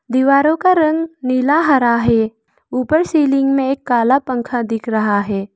दीवारों का रंग नीला हरा है ऊपर सीलिंग में एक काला पंखा दिख रहा है।